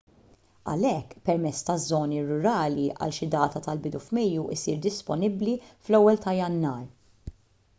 għalhekk permess taż-żoni rurali għal xi data tal-bidu f'mejju jsir disponibbli fl-1 ta' jannar